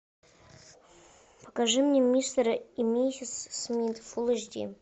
покажи мне мистера и миссис смит фулл эйч ди